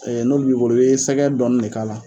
n'o b'i bolo i be sɛgɛ dɔɔni de k'a la